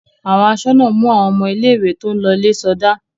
Àwọn aṣọ́nà mú àwọn ọmọ ilé-ìwé tó ń lọlé sọdá.